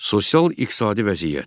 Sosial-iqtisadi vəziyyət.